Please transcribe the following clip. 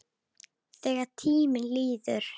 Þegar tíminn líður